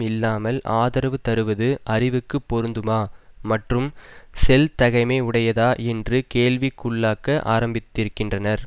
இல்லாமல் ஆதரவு தருவது அறிவுக்கு பொருந்துமா மற்றும் செல்தகைமை உடையதா என்று கேள்விக்குள்ளாக்க ஆரம்பித்திருக்கின்றனர்